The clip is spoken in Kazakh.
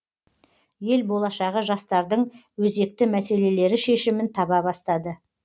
ел болашағы жастардың өзекті мәселелері шешімін таба бастады